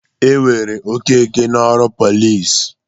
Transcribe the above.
E were Okeke n'ọrụ pọlịs.